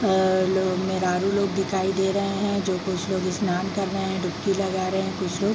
और लोग मेहरारू लोग दिखाई दे रहे है जो कुछ लोग स्नान कर रहे है डुबकी लगा रहे हैं कुछ लोग।